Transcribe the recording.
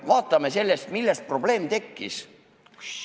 Vaatame, millest probleem tekkis.